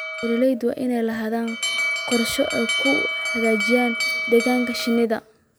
Beeralayda waa inay lahaadaan qorshooyin ay ku hagaajinayaan deegaanka shinnida.